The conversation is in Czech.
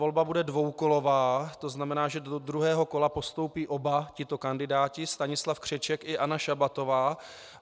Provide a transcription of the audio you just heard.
Volba bude dvoukolová, to znamená, že do druhého kola postoupí oba tito kandidáti, Stanislav Křeček i Anna Šabatová.